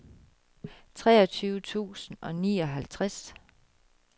treogtyve tusind og nioghalvtreds